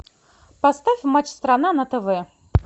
поставь матч страна на тв